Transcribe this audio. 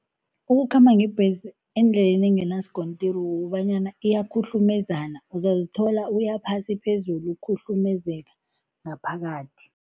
Ukukhamba ngebhesi endleleni enganaskontiri kukobanyana iyakhuhlumezana, uzazithola uya phasi phezulu, ukhuhlumezeka ngaphakathi.